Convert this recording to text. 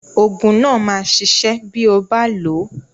Oògùn náà máa ṣiṣẹ́ bí ó bá lò ó.